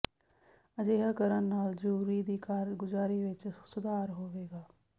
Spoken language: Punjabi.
ਅਜਿਹਾ ਕਰਨ ਨਾਲ ਜੂਰੀ ਦੀ ਕਾਰਗੁਜ਼ਾਰੀ ਵਿੱਚ ਸੁਧਾਰ ਹੋਵੇਗਾ